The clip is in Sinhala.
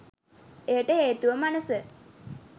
එයට හේතුව මනස